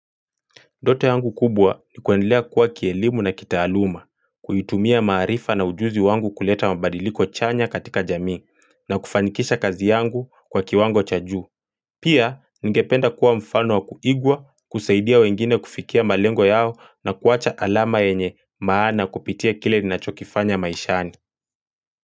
Ndoto yangu kubwa ni kuendlea kua kielimu na kitaaluma, kuitumia maarifa na ujuzi wangu kuleta mabadiliko chanya katika jamii, na kufanikisha kazi yangu kwa kiwango chajuu. Pia, ningependa kuwa mfano wa kuigwa, kusaidia wengine kufikia malengo yao na kuacha alama yenye maana kupitia kile ninachokifanya maishani.